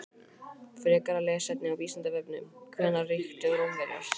Frekara lesefni á Vísindavefnum: Hvenær ríktu Rómverjar?